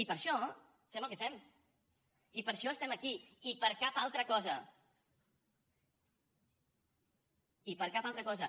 i per això fem el que fem i per això estem aquí i per cap altra cosa i per cap altra cosa